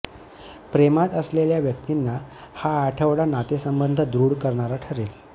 प्रेमात असलेल्या व्यक्तींना हा आठवडा नातेसंबंध दृढ करणारा ठरेल